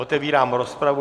Otevírám rozpravu.